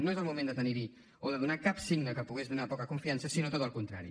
no és el moment de donar cap signe que pogués donar hi poca confiança sinó tot el contrari